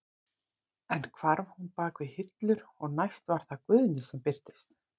Enn hvarf hún bak við hillur og næst var það Guðni sem birtist.